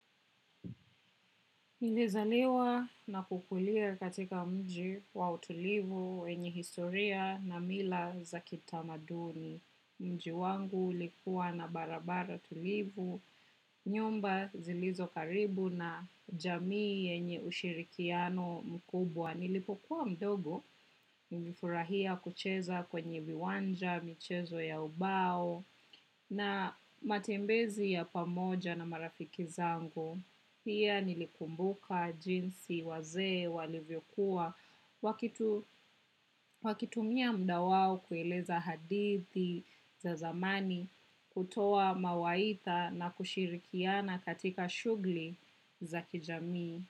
Nilizaliwa na kukulia katika mji wa utulivu wenyi historia na mila za kitamaduni. Mji wangu ulikuwa na barabara tulivu, nyumba zilizo karibu na jamii yenye ushirikiano mkubwa. Nilipokuwa mdogo, nilifurahia kucheza kwenye viwanja, michezo ya ubao na matembezi ya pamoja na marafiki zangu. Pia nilikumbuka jinsi wazee walivyokuwa waki wakitumia mda wao kueleza hadithi za zamani kutoa mawaidha na kushirikiana katika shughuli za kijamii.